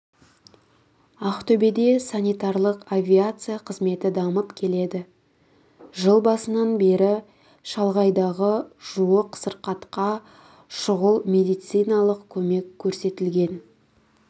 ақтөбеде санитарлық авиация қызметі дамып келеді жыл басынан бері шалғайдағы жуық сырқатқа шұғыл медициналық көмек көрсетілген